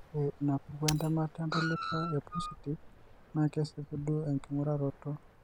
Ore enapuku entamata entalipa epositif naa kesipu duo enking'uraroto.